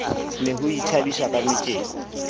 ne ho ithabiswa ka metjeko